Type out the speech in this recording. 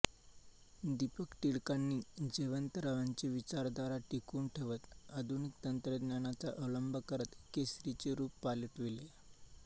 दीपक टिळकांनी जयंतरावांची विचारधारा टिकवून ठेवत आधुनिक तंत्रज्ञानाचा अवलंब करत केसरीचे रूप पालटविले